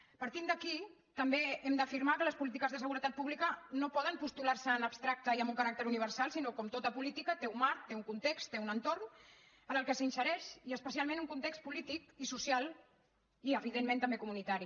partint d’aquí també hem d’afirmar que les polítiques de seguretat pública no poden postular se en abstracte i amb un caràcter universal sinó com tota política té un marc té un context té un entorn en el qual s’insereix i especialment un context polític i social i evidentment també comunitari